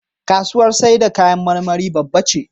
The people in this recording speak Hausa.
Kasuwar saida kayan marmari babba ce.